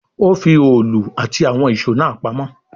Ó fi òòlù àti àwọn ìṣó náà mọ́